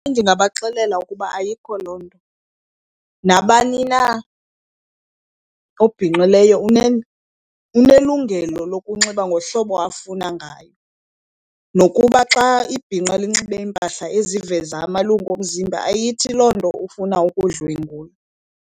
Ndingabaxelela ukuba ayikho loo nto. Nabani na obhinqileyo unelungelo lokunxiba ngohlobo afuna ngayo. Nokuba xa ibhinqa linxibe iimpahla eziveza amalungu omzimba ayithi loo nto ufuna ukudlwengulwa.